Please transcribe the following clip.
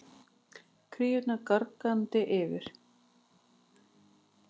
Kríurnar gargandi yfir.